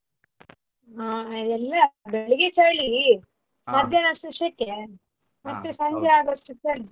ಹಾ ಇಲ್ಲ ಬೆಳ್ಗೆ ಚಳಿ ಅಷ್ಟ್ರಲ್ ಸೆಕೆ ಅಷ್ಟ್ರಲ್ ಚಳಿ.